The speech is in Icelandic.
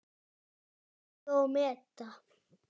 Vega og meta.